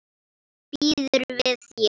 Býður við þér.